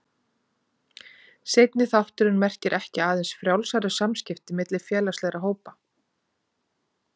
Seinni þátturinn merkir ekki aðeins frjálsari samskipti milli félagslegra hópa.